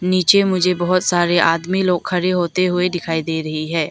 नीचे मुझे बहुत सारे आदमी लोग खड़े होते हुए दिखाई दे रही है।